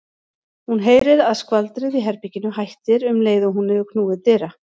Hún heyrir að skvaldrið í herberginu hættir um leið og hún hefur knúið dyra.